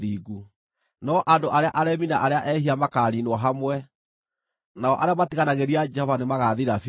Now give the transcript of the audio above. No andũ arĩa aremi na arĩa ehia makaaniinwo hamwe, nao arĩa matiganagĩria Jehova nĩmagathira biũ.